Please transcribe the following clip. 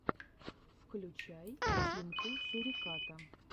включай тимку суриката